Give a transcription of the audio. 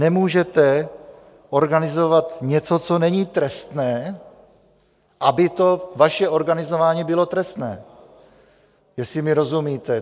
Nemůžete organizovat něco, co není trestné, aby to vaše organizování bylo trestné, jestli mi rozumíte.